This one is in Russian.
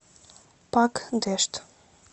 пакдешт